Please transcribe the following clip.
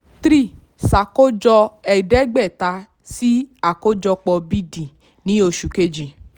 three ṣàkójọ ẹ̀ẹ́dẹ́gbẹ̀ta sí àkójọpọ̀ b/d ní oṣù kejì.